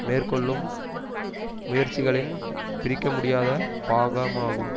மேற்கொள்ளும் முயற்சிகளின் பிரிக்கமுடியாத பாகமாகும்